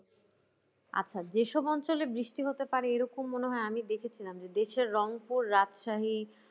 আচ্ছা যেসব অঞ্চলে বৃষ্টি হতে পারে এরকম মনে হয় আমি দেখেছিলাম যে দেশের রংপুর রাজশাহী